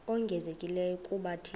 ongezelelekileyo kuba thina